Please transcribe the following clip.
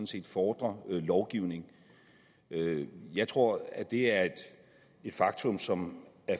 set fordrer lovgivning jeg tror at det er et faktum som